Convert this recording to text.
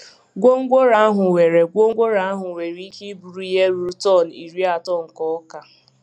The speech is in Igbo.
Gwongworo ahụ nwere Gwongworo ahụ nwere ike iburu ihe ruru tọn iri atọ nke ọka.